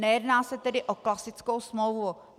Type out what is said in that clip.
Nejedná se tedy o klasickou smlouvu.